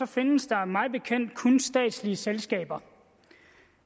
findes der mig bekendt kun statslige selskaber